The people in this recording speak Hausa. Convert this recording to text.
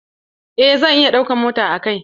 Eh zan iya ɗaukan mota a kai na.